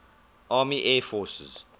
army air forces